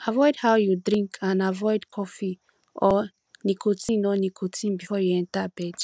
avoid how you drink and avoid cofee or nicotine or nicotine before you enter bed